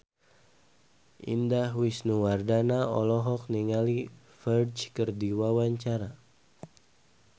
Indah Wisnuwardana olohok ningali Ferdge keur diwawancara